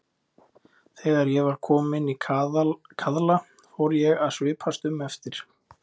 Þegar ég var kominn í kaðla fór ég að svipast um eftir